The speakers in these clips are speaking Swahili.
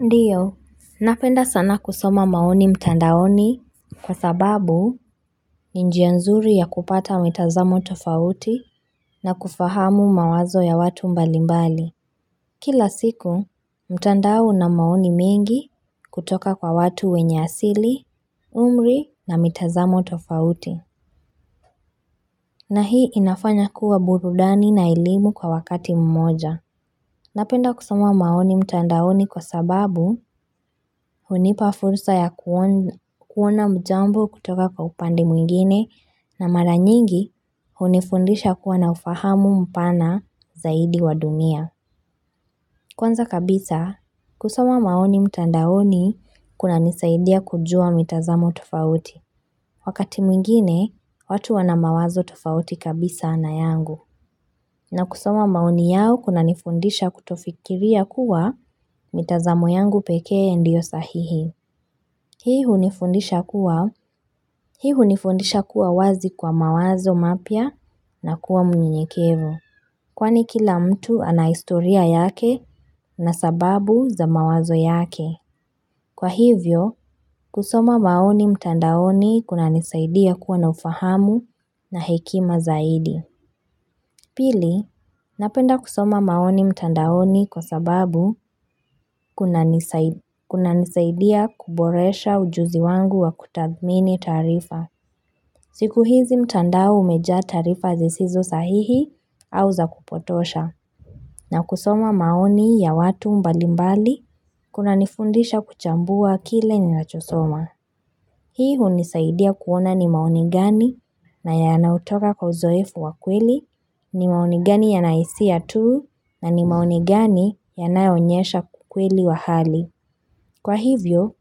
Ndio, napenda sana kusoma maoni mtandaoni kwa sababu ni njia nzuri ya kupata mitazamo tofauti na kufahamu mawazo ya watu mbalimbali. Kila siku, mtandao una maoni mengi kutoka kwa watu wenye asili, umri na mitazamo tofauti. Na hii inafanya kuwa burudani na elimu kwa wakati mmoja. Napenda kusoma maoni mtandaoni kwa sababu hunipa fursa ya kuona jambo kutoka kwa upande mwingine na maranyingi hunifundisha kuwa na ufahamu mpana zaidi wa dunia. Kwanza kabisa, kusoma maoni mtandaoni kunanisaidia kujua mitazamo tofauti. Wakati mwingine, watu wana mawazo tofauti kabisa na yangu. Na kusoma maoni yao kuna nifundisha kutofikiria kuwa mitazamo yangu pekee ndio sahihi. Hii hunifundisha kuwa wazi kwa mawazo mapya na kuwa mnyenyekevu. Kwani kila mtu ana historia yake na sababu za mawazo yake. Kwa hivyo, kusoma maoni mtandaoni kuna nisaidia kuwa na ufahamu na hekima zaidi. Pili, napenda kusoma maoni mtandaoni kwa sababu kuna nisaidia kuboresha ujuzi wangu wa kutathmini taarifa. Siku hizi mtandao umejaa taarifa zisizo sahihi au za kupotosha. Nakusoma maoni ya watu mbalimbali, kunanifundisha kuchambua kile ninachosoma. Hii hunisaidia kuona ni maoni gani na yanayotoka kwa uzoefu wa kweli, ni maoni gani ya nahisia tuu na ni maoni gani yanayoonyesha kukweli wa hali. Kwa hivyo,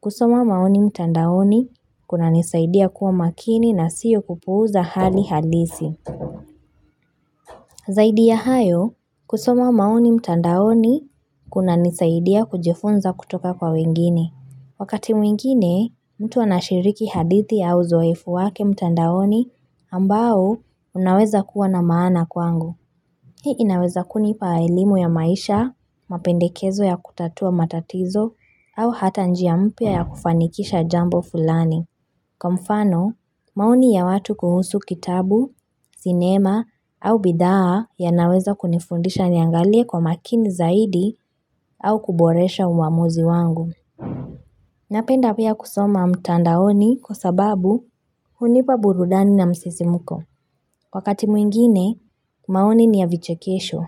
kusoma maoni mtandaoni kunanisaidia kuwa makini na siyo kupuuza hali halisi. Zaidi ya hayo, kusoma maoni mtandaoni kuna nisaidia kujifunza kutoka kwa wengine. Wakati mwingine, mtu anashiriki hadithi au uzoefu wake mtandaoni ambao unaweza kuwa na maana kwangu. Hii inaweza kunipa elimu ya maisha, mapendekezo ya kutatua matatizo, au hata njia mpya ya kufanikisha jambo fulani. Kwa mfano, maoni ya watu kuhusu kitabu, sinema au bidhaa yanaweza kunifundisha niangalie kwa makini zaidi au kuboresha uamuzi wangu. Napenda pia kusoma mtandaoni kwa sababu hunipa burudani na msisimuko. Wakati mwingine, maoni ni ya vichekesho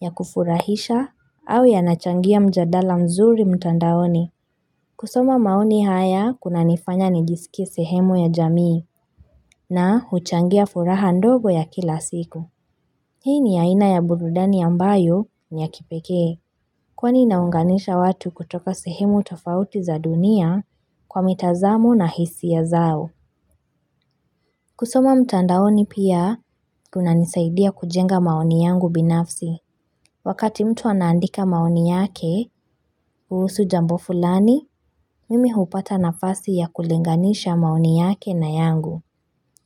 ya kufurahisha au yanachangia mjadala mzuri mtandaoni. Kusoma maoni haya kuna nifanya nijisikie sehemu ya jamii na huchangia furaha ndogo ya kila siku. Hii ni ya aina ya burudani ambayo ni ya kipekee. Kwani inaunganisha watu kutoka sehemu tofauti za dunia kwa mitazamu na hisi ya zao. Kusoma mtandaoni pia kuna nisaidia kujenga maoni yangu binafsi. Wakati mtu anaandika maoni yake, kuhusu jambo fulani, mimi hupata nafasi ya kulinganisha maoni yake na yangu.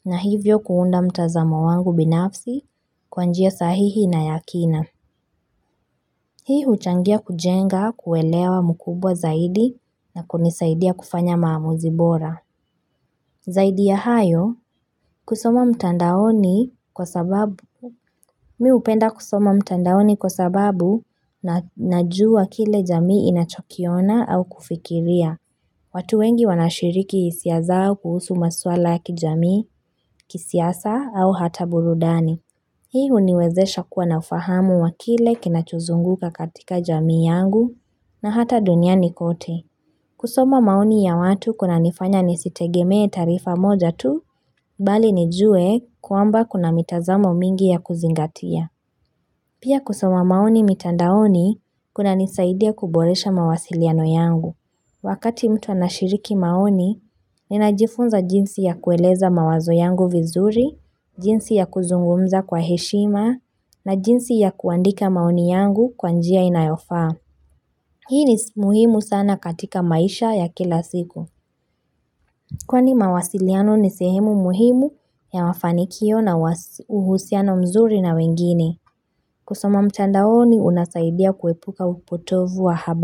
Na hivyo kuunda mtazamo wangu binafsi kwa njia sahihi na ya kina. Hii huchangia kujenga kuelewa mkubwa zaidi na kunisaidia kufanya maamuzi bora. Zaidi ya hayo, kusoma mtandaoni kwa sababu, mimi hupenda kusoma mtandaoni kwa sababu na najua kile jamii inachokiona au kufikiria. Watu wengi wanashiriki hisia zao kuhusu maswala ya kijamii, kisiasa au hata burudani. Hii huniwezesha kuwa na ufahamu wa kile kinachuzunguka katika jamii yangu na hata dunia ni kote. Kusoma maoni ya watu kunanifanya nisitegemee taarifa moja tu, bali nijue kwamba kuna mitazamo mingi ya kuzingatia. Pia kusoma maoni mitandaoni kunanisaidia kuboresha mawasiliano yangu. Wakati mtu anashiriki maoni, ninajifunza jinsi ya kueleza mawazo yangu vizuri, jinsi ya kuzungumza kwa heshima, na jinsi ya kuandika maoni yangu kwa njia inayofaa. Hii ni muhimu sana katika maisha ya kila siku. Kwani mawasiliano ni sehemu muhimu ya mafanikio nawa uhusiano mzuri na wengine. Kusoma mtandaoni unasaidia kuwepuka upotovu wa habari.